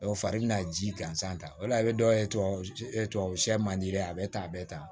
Dɔw fari bɛ na ji gansan ta o la i bɛ dɔ ye tubabu tubabu se man di dɛ a bɛ tan a bɛ tan